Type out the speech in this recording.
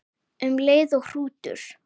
Um leið og hrútur